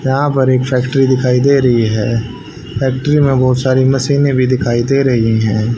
यहां पर एक फैक्ट्री दिखाई दे रही है फैक्ट्री में बहोत सारी मशीने भी दिखाई दे रही है।